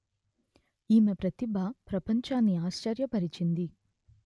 ఈమె ప్రతిభ ప్రపంచాన్నే ఆశ్చర్య పరిచింది